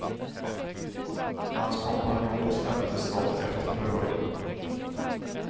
Hans kompanjon släpptes dock efter förhör.